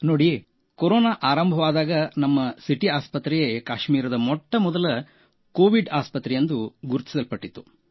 ನೋಡಿ ಕೊರೋನಾ ಆರಂಭವಾದಾಗ ನಮ್ಮ ಸಿಟಿ ಆಸ್ಪತ್ರೆಯೇ ಕಾಶ್ಮೀರದ ಮೊಟ್ಟಮೊದಲ ಕೋವಿಡ್ ಆಸ್ಪತ್ರೆಯೆಂದು ಗುರುತಿಸಲ್ಪಟ್ಟಿತು